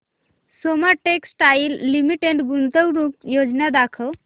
Soma textile limited गुंतवणूक योजना दाखव